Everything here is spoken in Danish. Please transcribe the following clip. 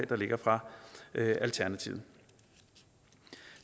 der ligger fra alternativet